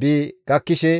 bi gakkishe,